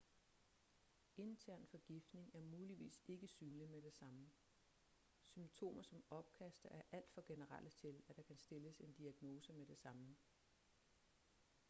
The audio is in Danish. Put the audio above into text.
intern forgiftning er muligvis ikke synlig med det samme symptomer som opkast er alt for generelle til at der kan stilles en diagnose med det samme